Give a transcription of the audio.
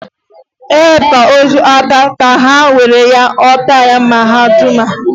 E hibe ozu aka ka a ha nwere ya o tie mhadamha.